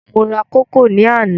Mo ra kókò ní àná.